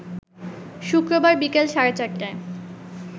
শুক্রবার বিকেল সাড়ে ৪টায়